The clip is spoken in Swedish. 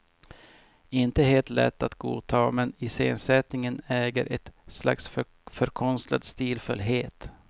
Inte helt lätt att godta, men iscensättningen äger ett slags förkonstlad stilfullhet.